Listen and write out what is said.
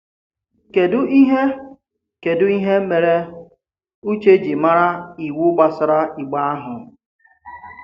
Kedu ihe Kedu ihe mere Ùchè ji mara iwu gbasara Ìgbe ahụ?